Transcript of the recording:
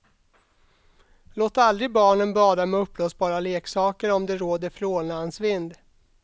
Låt aldrig barnen bada med uppblåsbara leksaker om det råder frånlandsvind.